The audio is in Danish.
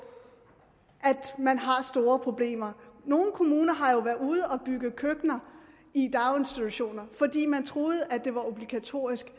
at man har store problemer nogle kommuner har jo været ude at bygge køkkener i daginstitutioner fordi man troede at det var obligatorisk